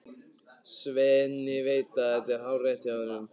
Svenni veit að þetta er hárrétt hjá honum.